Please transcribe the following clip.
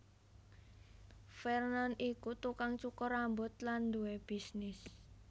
Vernon iku tukang cukur rambut lan duwé bisnis